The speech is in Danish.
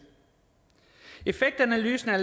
effektanalysen er